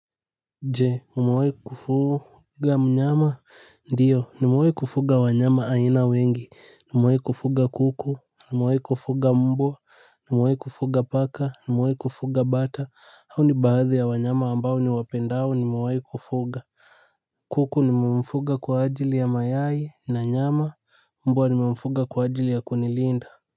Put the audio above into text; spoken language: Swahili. Jee umewahikufuga mnyama ndiyo nimewahi kufuga wanyama aina wengi nimewahi kufuga kuku nimewahi kufuga mbwa nimewahi kufuga paka nimewahi kufuga bata hao ni baadhi ya wanyama ambao niwapendao nimewahi kufuga kuku nimemfuga kwa ajili ya mayai na nyama mbwa nimemfuga kwa ajili ya kunilinda Muzika.